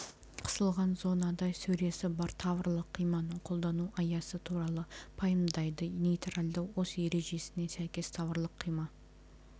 қысылған зонада сөресі бар таврлық қиманың қолдану аясы туралы пайымдайды нейтралды ось ережесіне сәйкес таврлық қима